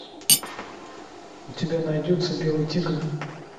у тебя найдется белый тигр